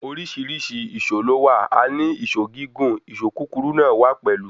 Oríṣìíríṣìí ìṣó lówà.A ní ìṣó gígún, ìṣó kúkúru náà wa pẹlú.